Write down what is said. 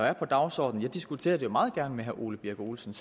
er på dagsordenen jeg diskuterer det jo meget gerne med herre ole birk olesen